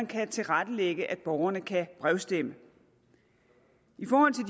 kan tilrettelægge at borgerne kan brevstemme